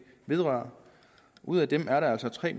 vedrører ud af dem er der altså tre